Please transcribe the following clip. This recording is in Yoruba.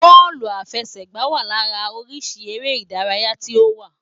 Bóòlù àfẹsẹ̀gbá wa lára oríṣi eré ìdárayá tí ó wà.